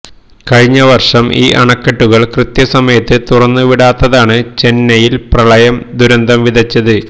കഴിഞ്ഞ വർഷം ഈ അണക്കെട്ടുകൾ കൃത്യ സമയത്ത് തുറന്ന് വിടാത്തതാണ് ചെന്നൈയിൽ പ്രളയം ദുരന്തം വിതച്ചത്